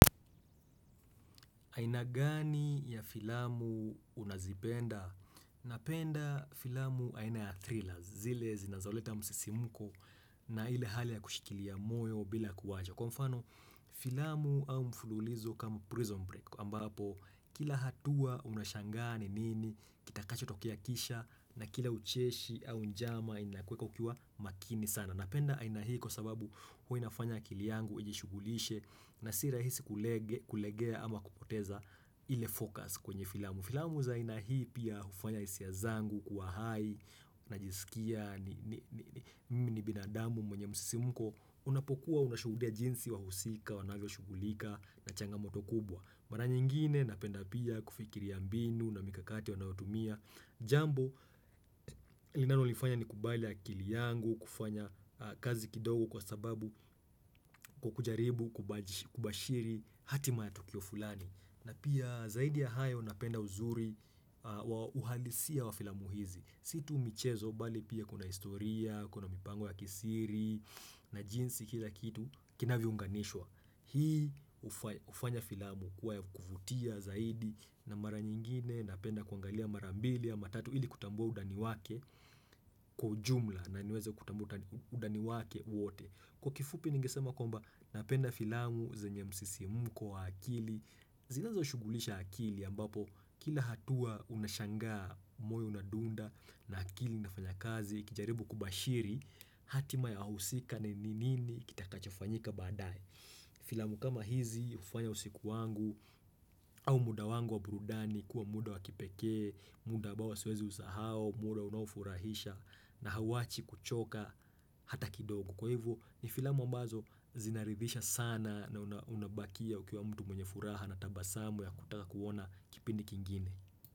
Aina gani ya filamu unazipenda? Napenda filamu aina ya thrillers zile zinazoleta msisimuko na ile hali ya kushikilia moyo bila kuwaja. Kwa mfano filamu au mfululizo kama prison break ambapo kila hatua unashangaa ni nini, kitakacho tokea kisha na kila ucheshi au njama inakweka ukiwa makini sana. Napenda aina hii kwa sababu huwa inafanya akili yangu ijishugulishe na sirahisi kulegea ama kupoteza ile focus kwenye filamu. Filamu za ina hii pia hufanya hisia zangu kuwa hai, najisikia, mimi ni binadamu mwenye msisi muko, unapokuwa unashuhudia jinsi wa husika, wanavyo shughulika, nachanga moto kubwa. Mara nyingine napenda pia kufikiri ya mbinu na mikakati wanaotumia. Jambo linalo lifanya ni kubalia akili yangu, kufanya kazi kidogo kwa sababu kukujaribu, kubashiri hati mayatukio fulani. Na pia zaidi ya hayo napenda uzuri uhalisia wa filamuhizi situ umichezo bali pia kuna historia, kuna mipango ya kisiri na jinsi kila kitu kina viunganishwa Hii hufanya filamu kuwa ya kufutia zaidi na mara nyingine Napenda kuangalia mara mbili ya matatu ili kutambua undani wake kwa jumla na niweze kutambua undani wake wote Kwa kifupi ningisema kwamba napenda filamu zenye msisi muko wa akili zinazo shugulisha akili ambapo kila hatua unashangaa moyo unadunda na akili unafanya kazi ukijaribu kubashiri hatima ya wahusika ni ninini kita kachafanyika badae. Filamu kama hizi hufanya usiku wangu au muda wangu wa burudani kuwa muda wa kipekee, muda ambao swezi usahau, muda unafurahisha na hauwachi kuchoka hata kidogo. Kwa hivyo ni filamu ambazo zinaridhisha sana na unabakia ukiwa mtu mwenye furaha na tabasamu ya kutaka kuona kipindi kingine.